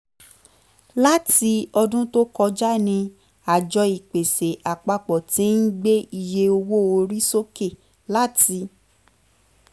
láti ọdún tó kọjá ni àjọ ìpèsè àpapọ̀ ti ń gbé iye owó orí sókè láti